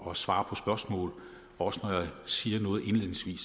og svarer på spørgsmål og også når jeg siger noget indledningsvis